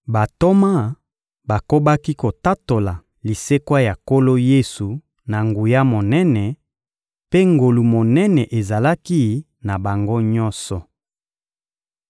Bantoma bakobaki kotatola lisekwa ya Nkolo Yesu na nguya monene, mpe ngolu monene ezalaki na bango nyonso.